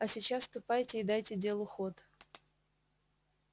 а сейчас ступайте и дайте делу ход